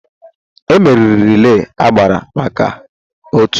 M meriri relay agbụrụ maka m otu